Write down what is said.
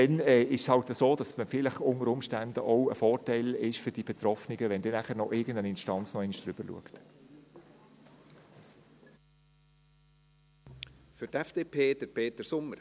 Dann ist es halt so, dass es vielleicht auch ein Vorteil für die Betroffenen ist, wenn irgendeine Instanz noch einmal darüber schaut.